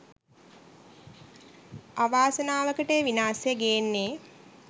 අවාසනාවකට ඒ විනාසය ගේන්නෙ